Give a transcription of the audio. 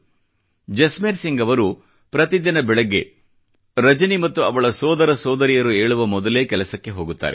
ಜಸ್ಮೇರ್ ಸಿಂಗ್ ಅವರು ಪ್ರತಿದಿನ ಬೆಳಿಗ್ಗೆ ರಜನಿ ಮತ್ತು ಅವಳ ಸೋದರ ಸೋದರಿಯರು ಏಳುವ ಮೊದಲೇ ಕೆಲಸಕ್ಕೆ ಹೋಗುತ್ತಾರೆ